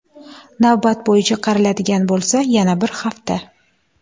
Navbat bo‘yicha qaraladigan bo‘lsa, yana bir hafta.